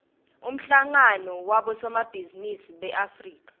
umhlangano wabosomabhizinisi beafrika